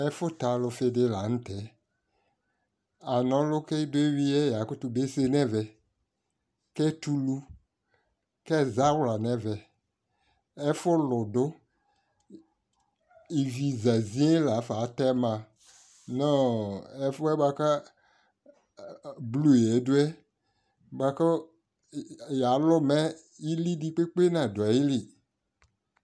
Ɛfʋtalʋfi di la nʋ tɛ Anɔlʋ ki idɔ ehwi yɛ yakʋtʋ bese nɛ vɛ, kɛtʋ ʋlʋ, kɛza wla nɛ vɛ Ɛfʋlʋ dʋ Ivi za ziee la fa atɛma nʋ ɔ ɛfuɛ boa kʋ ɔ blu yɛ du yɛ, boa kʋ ya yalʋ mɛ ili di kpekpe nadʋ ayili